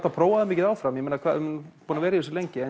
að prófa þig mikið áfram búinn að vera lengi